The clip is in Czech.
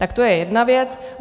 Tak to je jedna věc.